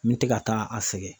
N tɛ ka taa a sɛgɛn.